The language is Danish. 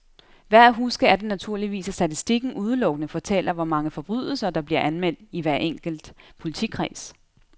Værd at huske er det naturligvis, at statistikken udelukkende fortæller, hvor mange forbrydelser, der bliver anmeldt i hver enkelt politikreds.